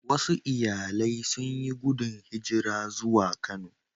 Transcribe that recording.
Wasu iyalai sun yi gudun hijira zuwa Kano